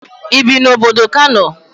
Ibi na obodo Kano?